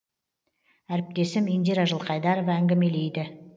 әріптесім индира жылқайдарова әңгімелейді